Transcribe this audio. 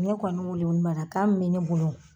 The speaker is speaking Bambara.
Ne kɔni weeleweelema kan min be ne bolo